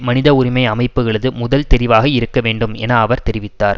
மனித உரிமை அமைப்புகளது முதல் தெரிவாக இருக்க வேண்டும் என அவர் தெரிவித்தார்